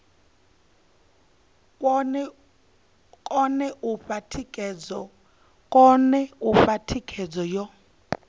kone u fha thikhedzo yo